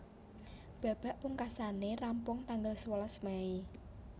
Babak pungkasané rampung tanggal sewelas Mei